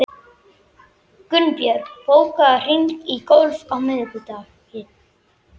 Gunnbjörg, bókaðu hring í golf á miðvikudaginn.